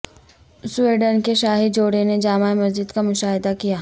Sweden کے شاہی جوڑے نے جامع مسجد کا مشاہدہ کیا